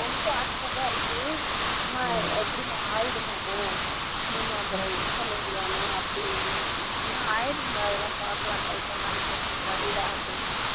அவனுக்கு ஆசையா தான் இருக்கு அம்மா எப்படிமா ஆகிடுமாம்மா நீங்க அப்பறோம் இது பண்ணுவீங்களாமா அப்படின்னு நான் சொன்னேன் ஆகிடும்டா அதெல்லாம் பார்க்கலாம் try பண்ணலாம் நீ first டு படிடா அப்படின்னு